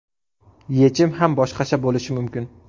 Yechim ham boshqacha bo‘lishi mumkin.